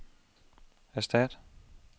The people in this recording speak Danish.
erstat